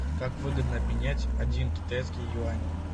как выгодно обменять один китайский юань